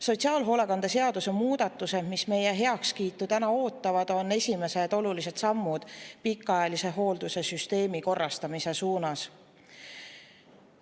Sotsiaalhoolekande seaduse muudatused, mis täna meie heakskiitu ootavad, on esimesed olulised sammud pikaajalise hoolduse süsteemi korrastamise suunas.